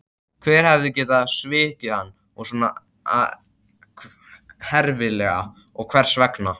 Hver hafði getað svikið hann svona herfilega og hvers vegna?